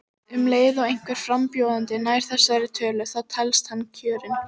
Miðað við aldur þá ertu að halda þér betur en margir á þínum aldri?